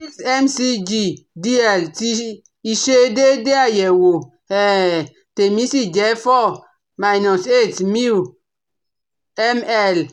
six mcgdl tí ìṣedéédé àyẹ̀wò um tèmi sì jẹ́ four minus eight miu ml